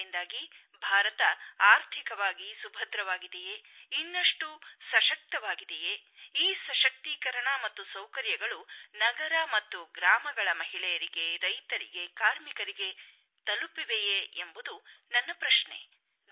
ಇದರಿಂದಾಗಿ ಭಾರತ ಆರ್ಥಿಕವಾಗಿ ಸುಭದ್ರವಾಗಿದೆಯೇ ಇನ್ನಷ್ಟು ಸಶಕ್ತವಾಗಿದೆಯೇ ಈ ಸಶಕ್ತೀಕರಣ ಮತ್ತು ಸೌಕರ್ಯಗಳು ನಗರ ಮತ್ತು ಗ್ರಾಮಗಳ ಮಹಿಳೆಯರಿಗೆ ರೈತರಿಗೆ ಕಾರ್ಮಿಕರಿಗೆ ತಲುಪಿವೆಯೇ ಎಂಬುದು ನನ್ನ ಪ್ರಶ್ನೆ